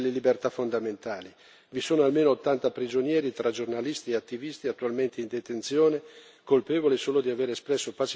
Vi sono almeno ottanta prigionieri tra giornalisti e attivisti attualmente in detenzione, colpevoli solo di aver espresso pacificamente il proprio dissenso.